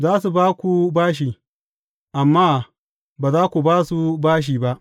Za su ba ku bashi, amma ba za ku ba su bashi ba.